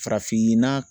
Farafinna